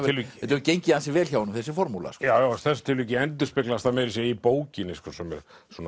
hefur gengið ansi vel hjá honum þessi formúla í þessu tilviki endurspeglast það meira að segja í bókinni svona